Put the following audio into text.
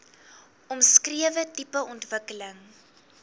omskrewe tipe ontwikkeling